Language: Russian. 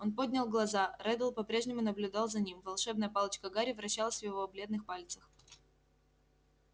он поднял глаза реддл по-прежнему наблюдал за ним волшебная палочка гарри вращалась в его бледных пальцах